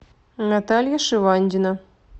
наталья шивандина